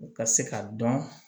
U ka se ka dɔn